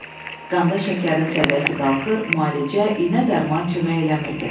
Qanda şəkərin səviyyəsi qalxır, müalicə, iynə dərman kömək eləmirdi.